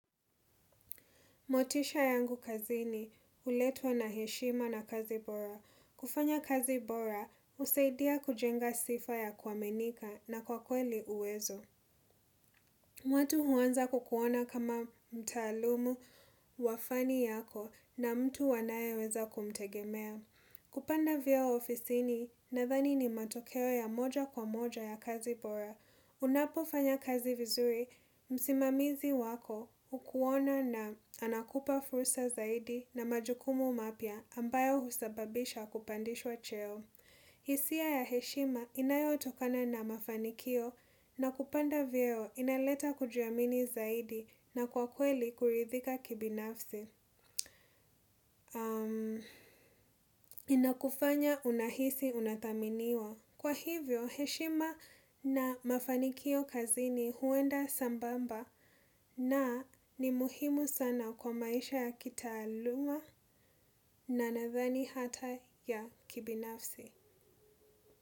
Motisha yangu kazini, huletwa na heshima na kazi bora. Kufanya kazi bora, husaidia kujenga sifa ya kuaminika na kwa kweli uwezo. Watu huanza kukuona kama mtaalumu, wa fani yako na mtu wanayeweza kumtegemea. Kupanda vyeo ofisini, nathani ni matokeo ya moja kwa moja ya kazi bora. Unapofanya kazi vizuri, msimamizi wako hukuona na anakupa fursa zaidi na majukumu mapya ambayo husababisha kupandishwa cheo. Hisia ya heshima inayotokana na mafanikio na kupanda vyeo inaleta kujiamini zaidi na kwa kweli kuridhika kibinafsi. Inakufanya unahisi unathaminiwa. Kwa hivyo, heshima na mafanikio kazini huenda sambamba na ni muhimu sana kwa maisha ya kitaaluma na nadhani hata ya kibinafsi.